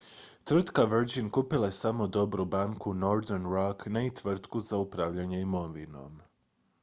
"tvrtka virgin kupila je samo "dobru banku" northern rock ne i tvrtku za upravljanje imovinom.